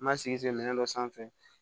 N ma sigi minɛ dɔ sanfɛ